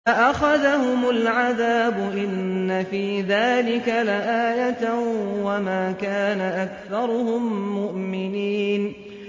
فَأَخَذَهُمُ الْعَذَابُ ۗ إِنَّ فِي ذَٰلِكَ لَآيَةً ۖ وَمَا كَانَ أَكْثَرُهُم مُّؤْمِنِينَ